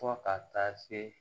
Fɔ ka taa se